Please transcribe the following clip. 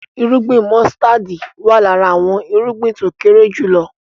Irúgbìn músítádì wá lára àwọn irúgbìn tó kéré jùlọ